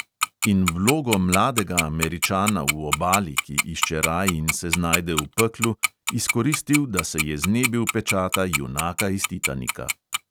In vlogo mladega američana v obali, ki išče raj in se znajde v peklu, izkoristil, da se je znebil pečata junaka iz titanika.